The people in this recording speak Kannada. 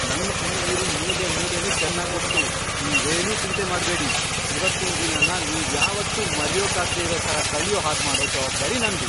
ನಂಗ್ ಈ ಊರಿನ್ ಮೂಲೆಮೂಲೆನೂ ಚೆನ್ನಾಗ್ ಗೊತ್ತು, ನೀವೇನೂ ಚಿಂತೆ ಮಾಡ್ಬೇಡಿ. ಇವತ್ತಿನ್ ದಿನನ ನೀವ್ಯಾವತ್ತೂ ಮರ್ಯೋಕಾಗ್ದೇ ಇರೋ ಥರ ಕಳ್ಯೋ ಹಾಗ್ಮಾಡೋ ಜವಾಬ್ದಾರಿ ನಂದು.